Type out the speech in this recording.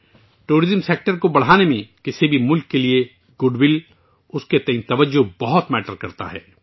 سیاحت کے شعبے کو بڑھانے میں کسی بھی ملک کے لیے خیر سگالی، اس کی طرف کشش بہت اہمیت رکھتی ہے